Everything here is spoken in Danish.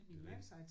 Det er jo det